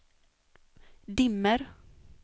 dimmer